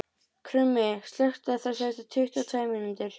Krummi, slökktu á þessu eftir tuttugu og tvær mínútur.